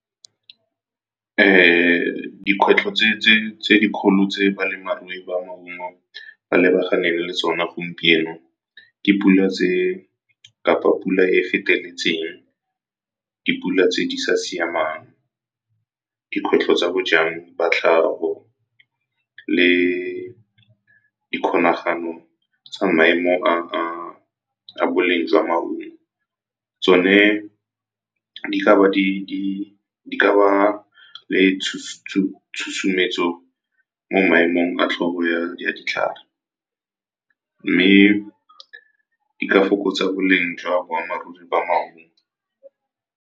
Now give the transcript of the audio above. Dikwetlho tse dikgolo tse balemarui ba maungo ba lebaganeng le tsone gompieno ke pula tse kapa pula e feteletseng, dipula tse di sa siamang, dikgwetlho tsa bojang ba tlhago le dikgolagano tsa maemo a boleng jwa maungo. Tsone di ka ba le tshosometso mo maemong a tlhobo ya ditlhare mme di ka fokotsa boleng jwa boammaaruri ba maungo.